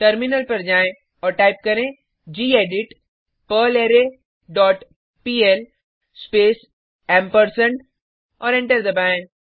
terminal पर जाएँ और टाइप करें gedit perlre dot PL space और एंटर दबाएँ